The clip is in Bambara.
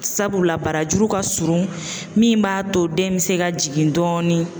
Sabula barajuru ka surun min b'a to den bɛ se ka jigin dɔɔni